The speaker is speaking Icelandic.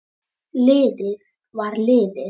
Liðið var liðið.